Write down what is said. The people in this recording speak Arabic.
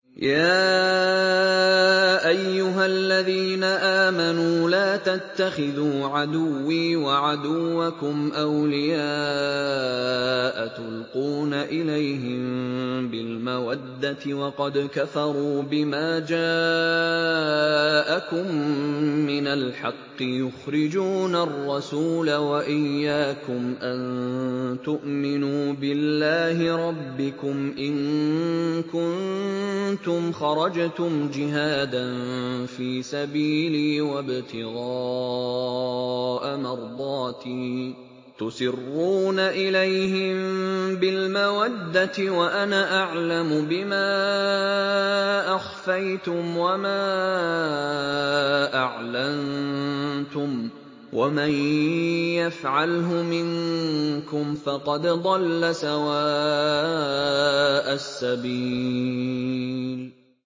يَا أَيُّهَا الَّذِينَ آمَنُوا لَا تَتَّخِذُوا عَدُوِّي وَعَدُوَّكُمْ أَوْلِيَاءَ تُلْقُونَ إِلَيْهِم بِالْمَوَدَّةِ وَقَدْ كَفَرُوا بِمَا جَاءَكُم مِّنَ الْحَقِّ يُخْرِجُونَ الرَّسُولَ وَإِيَّاكُمْ ۙ أَن تُؤْمِنُوا بِاللَّهِ رَبِّكُمْ إِن كُنتُمْ خَرَجْتُمْ جِهَادًا فِي سَبِيلِي وَابْتِغَاءَ مَرْضَاتِي ۚ تُسِرُّونَ إِلَيْهِم بِالْمَوَدَّةِ وَأَنَا أَعْلَمُ بِمَا أَخْفَيْتُمْ وَمَا أَعْلَنتُمْ ۚ وَمَن يَفْعَلْهُ مِنكُمْ فَقَدْ ضَلَّ سَوَاءَ السَّبِيلِ